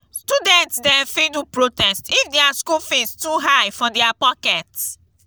student dem fit do protest if dia school fees too high for dia pocket.